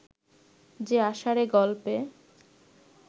যে আষাঢ়ে গল্পে